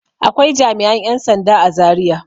Akwai jami'an 'yan sanda a Zariya.